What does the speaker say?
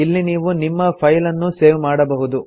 ಇಲ್ಲಿ ನೀವು ನಿಮ್ಮ ಫೈಲ್ ಅನ್ನು ಸೇವ್ ಮಾಡಬಹುದು